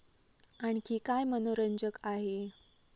आणखी काय मनोरंजक आहे?